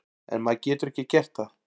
En maður getur ekki gert það.